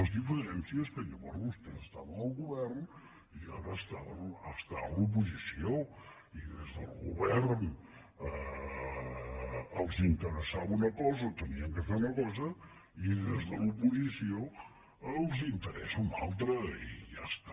la diferència és que llavors vostès estaven al govern i ara estan a l’oposició i des del govern els interessava una cosa o havien de fer una cosa i des de l’oposició els n’interessa una altra i ja està